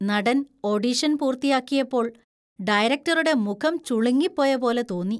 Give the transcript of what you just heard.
നടൻ ഓഡിഷൻ പൂർത്തിയാക്കിയപ്പോൾ ഡയറക്റ്ററുടെ മുഖം ചുളുങ്ങിപ്പോയ പോലെ തോന്നി.